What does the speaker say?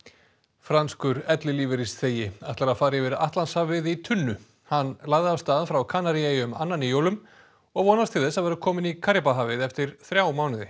franskur ellilífeyrisþegi ætlar að fara yfir atlandshafið í tunnu hann lagði af stað frá Kanaríeyjum annan í jólum og vonast til þess að vera kominn í Karíbahafið eftir þrjá mánuði